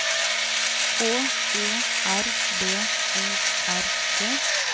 H E R B O R G